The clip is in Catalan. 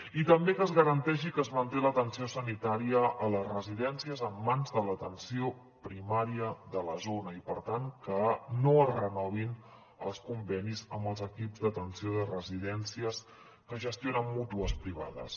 i també que es garanteixi que es manté l’atenció sanitària a les residències en mans de l’atenció primària de la zona i per tant que no es renovin els convenis amb els equips d’atenció de residències que gestionen mútues privades